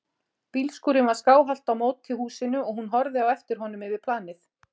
Bílskúrinn var skáhallt á móti húsinu og hún horfði á eftir honum yfir planið.